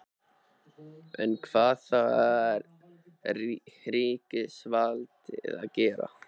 En hvað þarf ríkisvaldið að gera?